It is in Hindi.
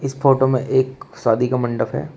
फोटो में एक शादी का मंडप है।